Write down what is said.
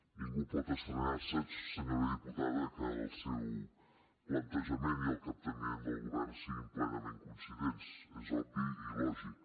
ningú pot estranyar se senyora diputada que el seu plantejament i el capteniment del govern siguin plenament coincidents és obvi i lògic